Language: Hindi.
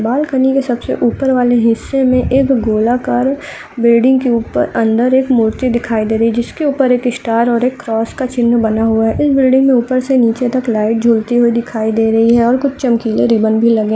बाल्कनी के सबसे ऊपर वाले हिस्से मे एक गोलाकार बिल्डिंग के ऊपर अंदर एक मूर्ति दिखाई दे रही है जिसके ऊपर एक स्टार और एक क्रॉस का चिन्ह बना हुआ है| इस बिल्डिंग मे ऊपर से नीचे तक लाइट झूलती हुई दिखाई दे रही है और कुछ चमकीले रिबन भी लगे --